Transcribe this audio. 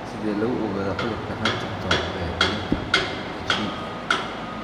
Sidee lagu ogaadaa cudurka Huntington ee dhallinta (HD)?